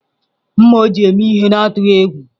Mma o ji eme ihe n’atụghị egwu.